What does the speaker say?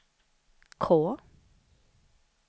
K